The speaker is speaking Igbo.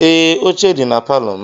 Ee, oche dị na palọ m.